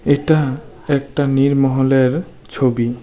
এটা একটা নীরমহলের ছবি।